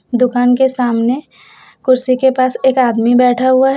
दुकान के सामने कुर्सी के पास एक आदमी बैठा हुआ है।